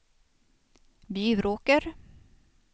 Bjuråker